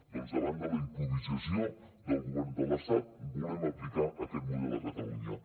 doncs davant de la improvisació del govern de l’estat volem aplicar aquest model a catalunya